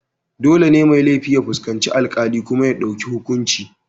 Dole ne mai laifi ya fuskanci alkali kuma ya dauki hukunci.